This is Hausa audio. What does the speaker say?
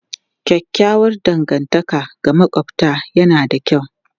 Kyakkyawar dangantaka da makwabta yana da kyau.